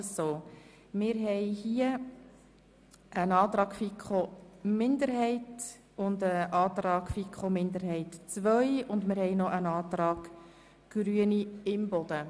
Dazu haben wir je einen Antrag der FiKo-Minderheit I, der FiKo-Minderheit II und der Grünen von Grossrätin Imboden.